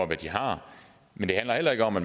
hvad de har men det handler heller ikke om at